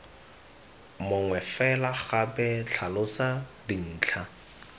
mongwe fela gape tlhalosa dintlha